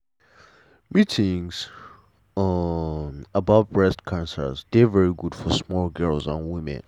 meetings um about breast cancer dey very good for small girls and women